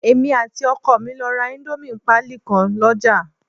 Èmi àti ọkọ mi lọ ra íńdómì pálí kan lọ́ jà